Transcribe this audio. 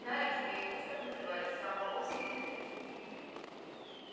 знаешь змееустом называли самого слизерина